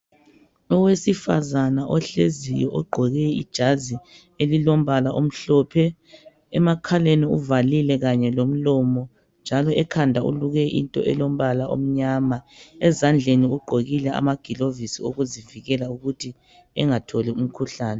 Owesifazana ohleziyo ogqoke ijazi elombala omhlophe emakhaleni uvalile kanye lomlomo njalo ekhanda uluke into elombala omnyama ezandleni ugqokile amakilovisi okuzivikela ukuthi engatholi umkhuhlane.